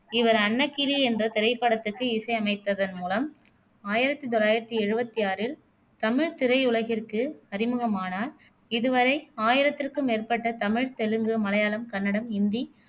இவர் அன்னக்கிளி என்ற திரைப்படத்துக்கு இசை அமைத்ததன் மூலம் ஆயிரத்தி தொள்ளாயிரத்தி எழுவத்தி ஆறில் தமிழ் திரையுலகிற்கு அறிமுகமானார் இதுவரை ஆயிரத்திற்கும் மேற்பட்ட தமிழ், தெலுங்கு, மலையாளம், கன்னடம், இந்தி